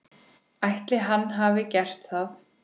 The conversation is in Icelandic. Ætli hann hafi gert það?